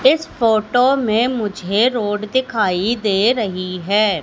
इस फोटो में मुझे रोड दिखाई दे रही है।